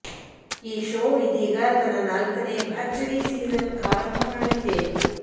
ಈ ಶೋ ಇದೀಗ ತನ್ನ ನಾಲ್ಕನೇ ಭರ್ಜರಿ ಸೀಸನ್ ಆರಂಭ ಮಾಡಲಿದೆ